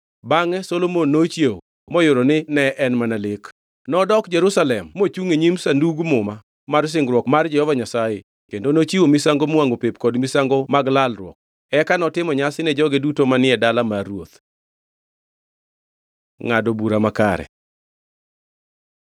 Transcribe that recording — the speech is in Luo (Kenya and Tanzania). Bangʼe Solomon nochiewo moyudo ni ne en mana lek. Nodok Jerusalem mochungʼ e nyim Sandug Muma mar Singruok mar Jehova Nyasaye kendo nochiwo misango miwangʼo pep kod misango mag lalruok. Eka notimo nyasi ni joge duto manie dala mar ruoth. Ngʼado bura makare